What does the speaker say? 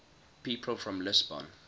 people from lisbon